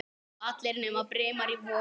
Allir nema Brimar í Vogi.